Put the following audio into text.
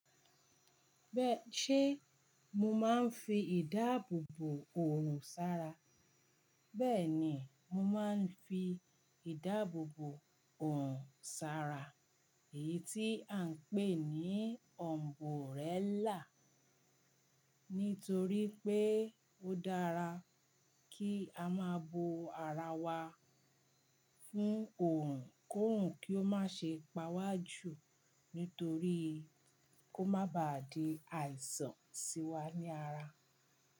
Bẹ́ẹ̀ṣé mo máa ń fi ìdáàbòbò òòrùn sara? Bẹ́ẹ̀ni, mo máa ń fi ìdáàbòbò òòrùn sara, èyí tí à ń pè ní umburella. Nítorí pé ó dára kí a máa bo ara wa fún òòrùn kò rùn kí ó má ṣe pa wa jù nítorí kó má ba à di àìsàn sí wa ní ara.